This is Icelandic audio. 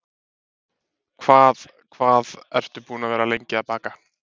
Hvað hvað ertu búin að vera lengi að baka?